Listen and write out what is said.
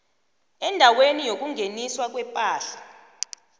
endaweni yokungeniswa kwepahla